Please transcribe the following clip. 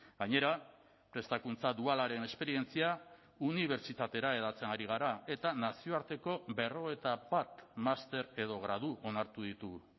gainera prestakuntza dualaren esperientzia unibertsitatera hedatzen ari gara eta nazioarteko berrogeita bat master edo gradu onartu ditugu